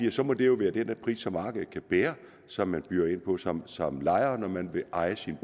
at så må det være den pris som markedet kan bære som man byder ind på som som lejer når man vil eje sin